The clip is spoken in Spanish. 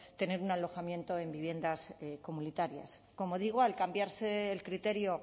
tener un alojamiento en viviendas comunitarias como digo al cambiarse el criterio